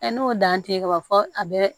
n'o dan tɛ ye ka ban fɔ a bɛ